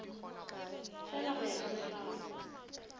fela go ya ka molao